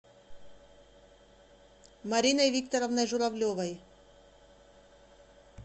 мариной викторовной журавлевой